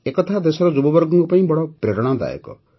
ଏ କଥା ଦେଶର ଯୁବବର୍ଗଙ୍କ ପାଇଁ ବଡ଼ ପ୍ରେରଣାଦାୟକ